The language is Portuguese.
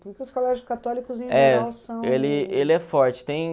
Porque os colégios católicos Ele ele é forte. Tem...